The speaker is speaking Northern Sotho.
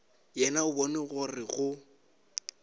yena o bona gore go